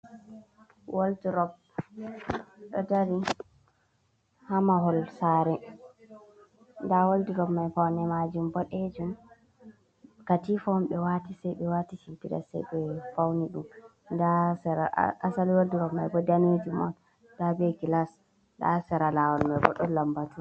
Waldurop ɗo dari ha mahol sare, nda woldrop mai faune majum boɗejum katifa on ɓe wati sai ɓe wati shimpiɗa sai be fauni ɗum, nda sera asali waldurop mai bo danejum on nda be gilas nda sera lawol mai bo ɗon lambatu.